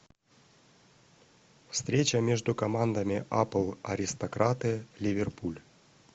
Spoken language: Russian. встреча между командами апл аристократы ливерпуль